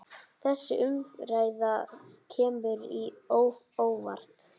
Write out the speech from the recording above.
Þessi umræða kemur á óvart.